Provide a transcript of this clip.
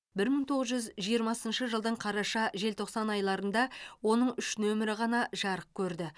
бір мың тоғыз жүз жиырмасыншы жылдың қараша желтоқсан айларында оның үш нөмірі ғана жарық көрді